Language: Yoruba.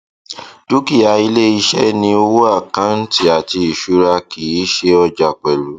dúkìá iléiṣẹ ni owó àkáǹtì àti ìṣúra kì í ṣe ọjà pẹlú